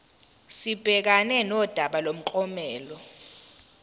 sibhekane nodaba lomklomelo